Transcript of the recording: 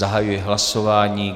Zahajuji hlasování.